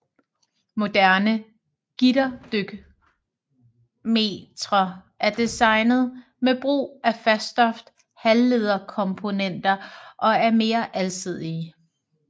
Moderne gitterdykmetre er designet med brug af faststof halvlederkomponenter og er mere alsidige